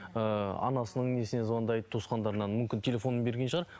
ыыы анасының несіне звандайды туысқандарына мүмкін телефонын берген шығар